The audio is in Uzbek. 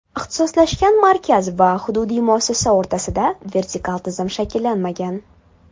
Ixtisoslashgan markaz va hududiy muassasa o‘rtasida vertikal tizim shakllanmagan.